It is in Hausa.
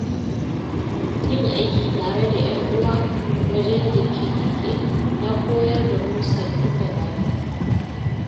Yin aiki tare da ƴan uwa wajen girke-girke ya koyar da mu sabbin dabaru.